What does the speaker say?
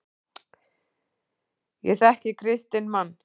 Ég þekki kristinn mann.